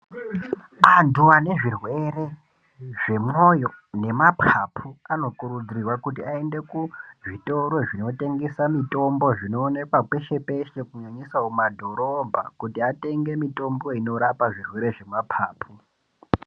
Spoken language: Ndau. Antu ane zvirwere zvemwoyo nemapapu anokurudzirwa kuti aende kuzvitoro zvinotengesa zvinoonekwa peshe-peshe kunyanyisa mumadhorobha kuti atenge mitombo inorapa zvirwere zvemapapu.